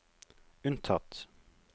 unntatt